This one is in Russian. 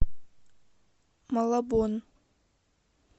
малабон